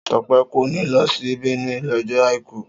Sope kò ní lọ sí Benue lọ́jọ́ àìkú